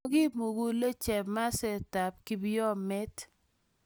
Mokimulenge chamastab kipyomet